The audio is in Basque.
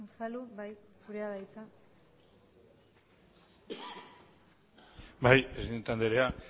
unzalu jauna zurea da hitza bai presidente andrea